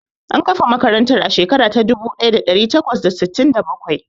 An kafa makarantar a shekara ta dubu ɗaya da ɗari takwas da sittin da bakwai.